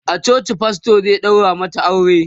a coci pastor zai ɗaura masu aure